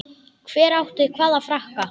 Hver átti hvaða frakka?